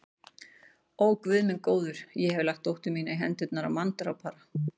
Ó, Guð minn góður, ég hef lagt dóttur mína í hendurnar á manndrápara.